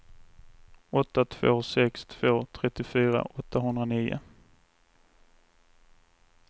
åtta två sex två trettiofyra åttahundranio